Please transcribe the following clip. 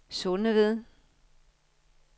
Sundeved